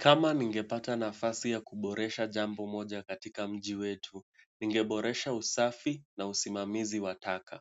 Kama ningepata nafasi ya kuboresha jambo moja katika mji wetu, ningeboresha usafi na usimamizi wa takataka.